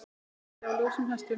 Dálæti á ljósum hestum